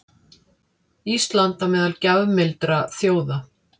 Ísland á meðal gjafmildra þjóða